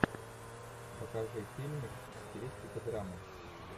покажи фильмик в стилистике драма